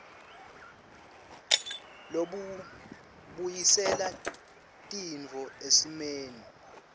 lobubuyisela tintfo esimeni